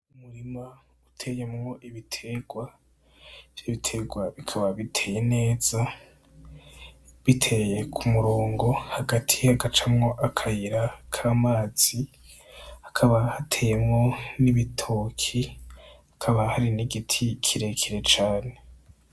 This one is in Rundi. Umurima uteyemwo ibiterwa, ivyo biterwa bikaba biteye neza, biteye k'umurongo hagati hagacamw'akayira k'amazi hakaba hateyemwo hakaba hari n'igiti kirekire cane.